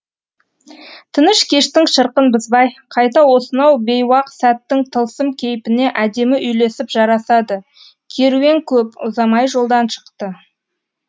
тыныш кештің шырқын бұзбай қайта осынау бейуақ сәттің тылсым кейпіне әдемі үйлесіп жарасады керуен көп ұзамай жолдан шықты